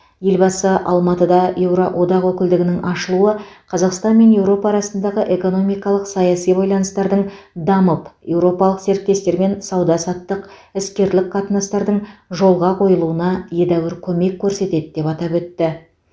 елбасы алматыда еуроодақ өкілдігінің ашылуы қазақстан мен еуропа арасындағы экономикалық саяси байланыстардың дамып еуропалық серіктестермен сауда саттық іскерлік қатынастардың жолға қойылуына едәуір көмек көрсетеді деп атап өтті